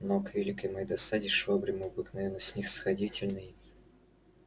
но к великой моей досаде швабрин обыкновенно снисходительный